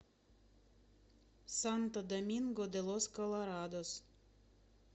санто доминго де лос колорадос